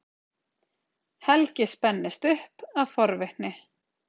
Helgi spennist upp af forvitni.